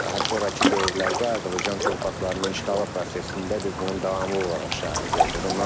Daha sonrakı dövrlərdə Azərbaycan torpaqlarının işğalı prosesində biz bunun davamlı olaraq şahidi olduq.